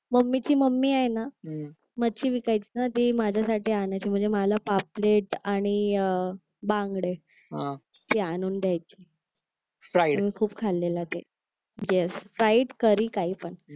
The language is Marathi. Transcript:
मम्मी ची मम्मी आहे ना मच्छी विकायचे ना ती माझ्यासाठी आणायची म्हणजे मला पापलेट आणि अह बांगडे ते आणून द्यायची मी खूप खाल्लेलं ते येस प्राइड करी काही पण